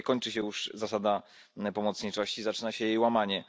No tutaj kończy się już zasada pomocniczości, zaczyna się jej łamanie.